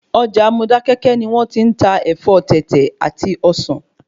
Ọjà Modákéké ni wón ti n ta Ẹ̀fọ́ Tètè àti Ọsàn